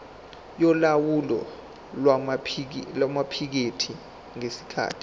yolawulo lwamaphikethi ngesikhathi